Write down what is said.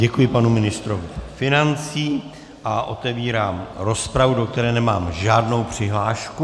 Děkuji panu ministru financí a otevírám rozpravu, do které nemám žádnou přihlášku.